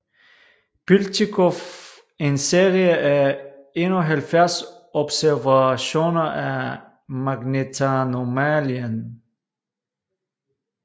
Piltjikov en serie af 71 observationer af magnetanomalien